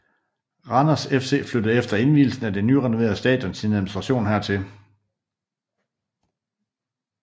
Randers FC flyttede efter invielsen af det nyrenoverede stadion sin administration hertil